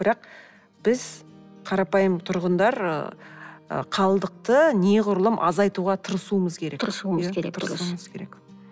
бірақ біз қарапайым тұрғындар ы қалдықты неғұрлым азайтуға тырысуымыз керек тырысуымыз керек тырысуымыз керек